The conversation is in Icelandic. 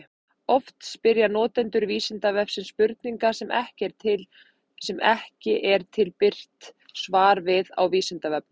Oft spyrja notendur Vísindavefsins spurninga sem ekki er til birt svar við á Vísindavefnum.